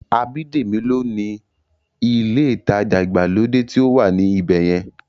Abídèmí ní ó ni ilé ìtajà ìgbàlódé tí ó wà ní ibẹ̀yẹn